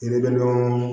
Ne bɛ nɔnɔ